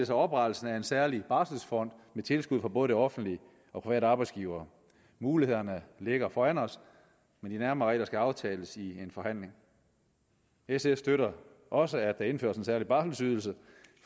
sig oprettelsen af en særlig barselfond med tilskud fra både det offentlige og private arbejdsgivere mulighederne ligger foran os men de nærmere regler skal aftales i en forhandling sf støtter også at der indføres en særlig barselydelse